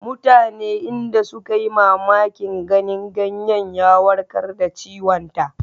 Mutane inda suka yi mamakin ganin ganyen ya warkar da ciwonta.